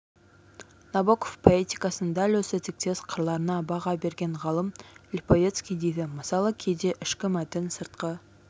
набоков поэтикасының дәл осы тектес қырларына баға берген ғалым липовецкий дейді мысалы кейде ішкі мәтін сыртқы